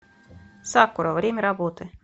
сакура время работы